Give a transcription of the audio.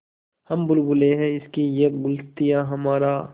हम बुलबुलें हैं इसकी यह गुलसिताँ हमारा